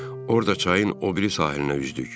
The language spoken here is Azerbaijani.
Orada çayın o biri sahilinə üzdük.